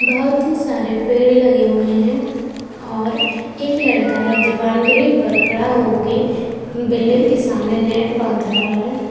बहोत ही सारे पेड़ लगे हुए हैं और एक लड़का है जो बॉउंड्री पर खड़ा होके बिल्डिंग के सामने नेट बांध रहा है।